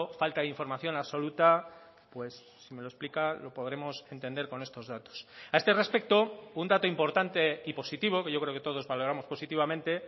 falta de información absoluta pues si me lo explica lo podremos entender con estos datos a este respecto un dato importante y positivo que yo creo que todos valoramos positivamente